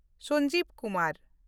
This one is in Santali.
ᱥᱚᱧᱡᱤᱵ ᱠᱩᱢᱟᱨ